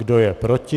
Kdo je proti?